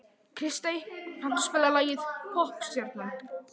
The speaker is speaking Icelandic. Kristey, kanntu að spila lagið „Poppstjarnan“?